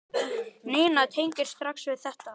Nína tengir strax við þetta.